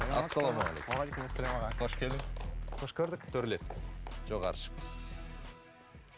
қош келдің қош көрдік төрлет жоғары шық